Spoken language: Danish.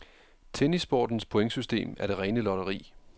Tennissportens pointsystem er det rene lotteri.